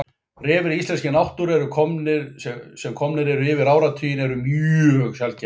Refir í íslenskri náttúru sem komnir eru yfir áratuginn eru mjög sjaldgæfir.